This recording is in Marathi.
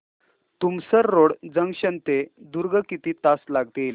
तुमसर रोड जंक्शन ते दुर्ग किती तास लागतील